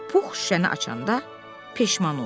Pux şüşəni açanda peşman oldu.